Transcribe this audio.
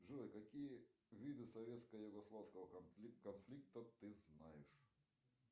джой какие виды советско югославского конфликта ты знаешь